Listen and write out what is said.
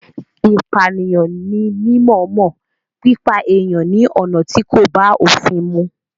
Ìpànìyàn ní mímọ̀ọ́mọ̀ pípa èèyàn ní ọ̀nà tí kò bá òfin mu.